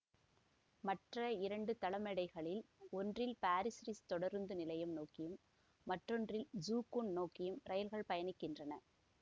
மற்ற இரண்டு தளமேடைகளில் ஒன்றில் பாசிர் ரிஸ் தொடருந்து நிலையம் நோக்கியும் மற்றொன்றில் ஜூ கூன் நோக்கியும் ரயில்கள் பயணிக்கின்றன